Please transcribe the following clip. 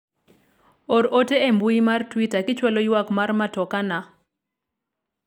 or ote e mbui mar twita kichwalo ywak mar matoka na